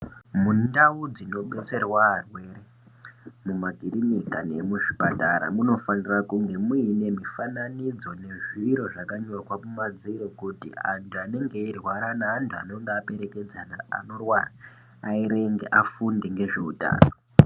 Mundau dzino detserwa arwere mu makirinika nemu zvipatara munofanira kunge muine mi fananidzo zvakanyorwa mu madziro kuti antu anenge eirwara ne antu anonga aperekedzana anorwara aerenge afunde nge zveutano.